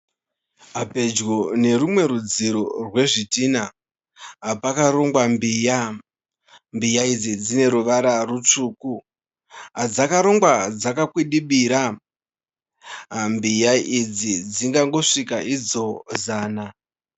Pedyo nerwumwe rudziro rwezvidhina, pakarongwa mbiya. Mbiya idzi dzine ruvara rutsvuku. Dzakarongwa dzakakwidibira. Mbiya idzi dzingangosvika zana.